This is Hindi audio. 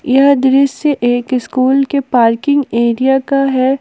यह दृश्य एक स्कूल के पार्किंग एरिया का है।